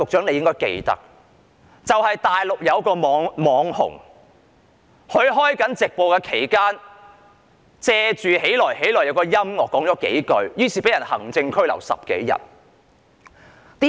內地有一位"網紅"在直播期間，在"起來、起來"的音樂背景下，說了幾句話，結果被行政拘留10多天。